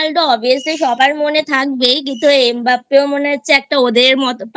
Obviously সবার মনে থাকবেই কিন্তু M Mbappe মনে হচ্ছে ওদের মতো